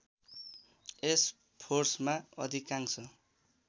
यस फोर्समा अधिकांश